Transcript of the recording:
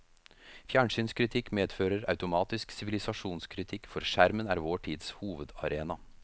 Fjernsynskritikk medfører automatisk sivilisasjonskritikk, for skjermen er vår tids hovedarena.